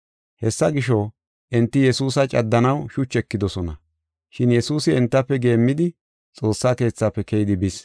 Hessa gisho, enti Yesuusa caddanaw shuchi ekidosona. Shin Yesuusi entafe geemmidi Xoossa Keethafe keyidi bis.